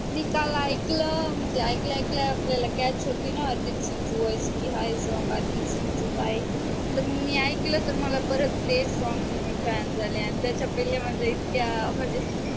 मी काल ऐकलं म्हणजे ऐकल्या ऐकल्या आपल्याला कॅश होते न तर मग मी ऐकलं तर मला परत तेच songs आणि त्याच्याकडले म्हणजे इतक्या म्हणजे